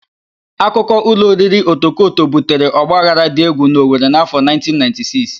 Akụkọ ụlọ oriri Otokoto butere ọgbaghara dị égwù n'Owere n'afọ 1996.